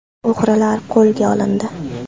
O‘g‘rilar qo‘lga olindi.